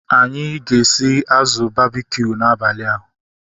Anyị ga-esi azụ babkiu n'abalịa